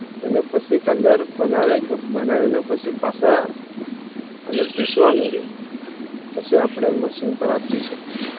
તને પછી Colour બનાવે બનાવી ને પછી પાસા અને પીસવા મળે પછી અપને Machine પાર આપી શકી